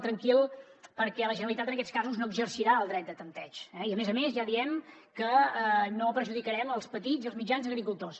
tranquil perquè la generalitat en aquests casos no exercirà el dret de tanteig i a més a més ja diem que no perjudicarem els petits i els mitjans agricultors